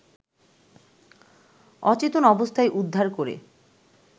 অচেতন অবস্থায় উদ্ধার করে